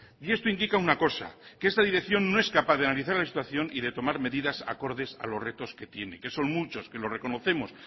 y esto indica una cosa que esta dirección no es capaz de analizar la situación y de tomar medidas acordes a los retos que tiene que son muchos que lo reconocemos